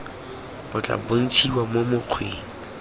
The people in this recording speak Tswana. o tla bontshiwa mo mokgweng